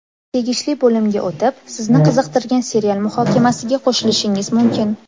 Tegishli bo‘limga o‘tib, sizni qiziqtirgan serial muhokamasiga qo‘shilishingiz mumkin.